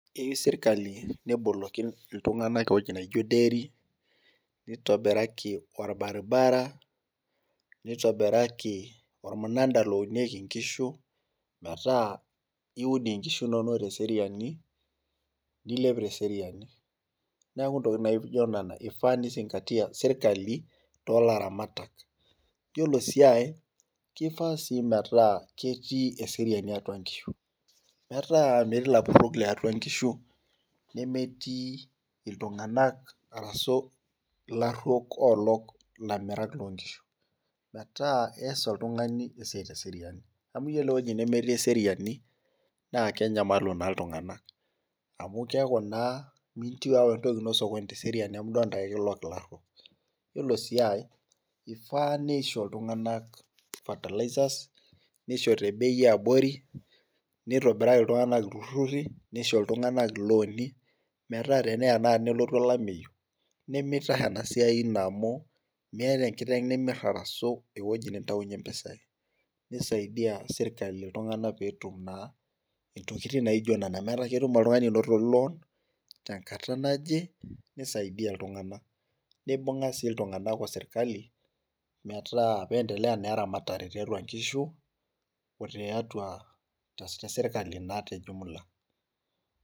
keyieu sirkali neboloki itung'anak eweji naaijo deiri, nitobiraki orbaribara , nitobiraki olmunada lounieki inkishu, metaa iud inkishu inonok tesiriani, nilep teseriani, neeku intokitin naijo nena ifaa nizingatia serkali too laramatak , iyiolo sii ae naa kifaa metaa ketii eseriani atua inkishu, metaa metii ilapurok liatua inkishu, nemetii iltung'anak arashu ilaruok olok ilamirak loo nkishu, metaa iyas oltung'ani esiai iserian amu iyiolo eweji nemetii eseriani naa kenyamalu naa iltung'anak amu keeku naa miintieu awa entoki ino teseriani amu keeku naa ekilok ilaruok, iyiolo sii ae ifaa nisho iltung'anak fertilizers nisho tebei eebori , nitobiraki iltung'anak iltururi nitobiraki ilooni, metaa tenelotu olameyu nimitahe enasiai ino amu meeta enkiteng nimir arashu eweji nintaunyie impisai nisaidia serkali itung'anak pee etum naa intokitin naajio nena meetaa ketum oltungani anoto loon tenkata naje, nibung'a sii iltung'anak osirikali pee entelea naa eramatare tiatua inkishu otesirkali naa tejumula.